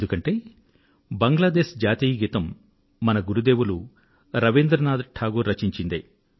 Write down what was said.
ఎందుకంటే బంగ్లాదేశ్జాతీయగీతం మన గురుదేవులు రవీంద్రనాథ్టాగూర్ రచన